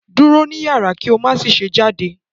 Duro ni yara ki o ma ṣe jade